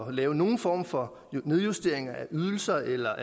at lave nogen form for nedjusteringer af ydelser eller